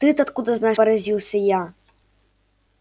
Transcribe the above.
ты-то откуда знаешь поразился я